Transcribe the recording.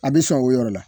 A bɛ sɔn o yɔrɔ la